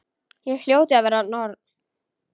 Ég hljóti að vera norn.